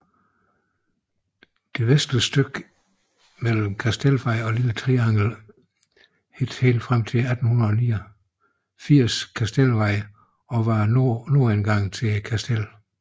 Det vestligste stykke mellem Kastelsvej og Lille Triangel hed helt frem til 1889 Kastelsvej og var nordindgang til Kastellet